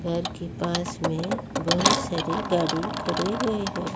घर के पास में बहोत सारी गाड़ी खड़े हुए हैं।